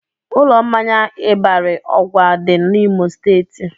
Ụlọ mmanya Ịbarị ọgwa dị n'Imo steeti